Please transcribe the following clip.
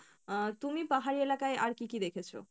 আহ তুমি পাহাড়ি এলাকায় আর কী কী দেখেছো?